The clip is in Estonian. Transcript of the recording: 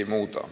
Ei muuda.